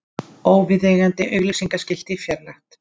Óviðeigandi auglýsingaskilti fjarlægt